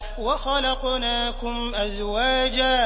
وَخَلَقْنَاكُمْ أَزْوَاجًا